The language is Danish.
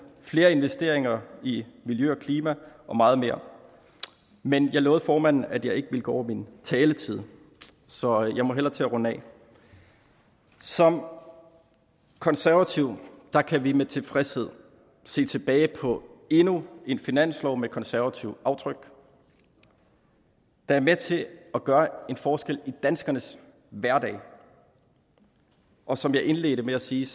flere investeringer i miljø og klima og meget mere men jeg lovede formanden at jeg ikke ville gå over min taletid så jeg må hellere til at runde af som konservative kan vi med tilfredshed se tilbage på endnu en finanslov med konservativt aftryk der er med til at gøre en forskel i danskernes hverdag og som jeg indledte med at sige